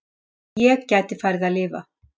Svo ég gæti farið að lifa.